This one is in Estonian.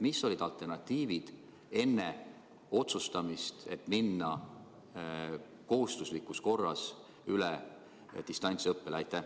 Millised olid alternatiivid, kui te otsustasite kehtestada kohustuslikus korras distantsõppe?